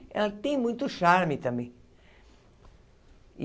Ela tem muito charme também.